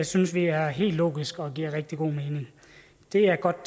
synes vi er helt logisk det giver rigtig god mening det er godt